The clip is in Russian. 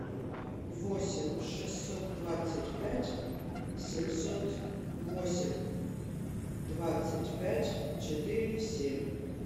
восемь шестьсот двадцать пять семьсот восемь двадцать пять четыре семь